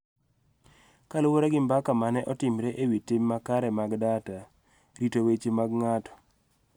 Kaluwore gi mbaka ma ne otimre e wi tim makare mag data, rito weche mag ng�ato,